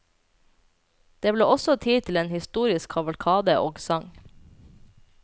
Det ble også tid til en historisk kavalkade og sang.